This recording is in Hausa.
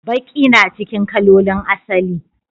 Baki na cikin kalolin asali.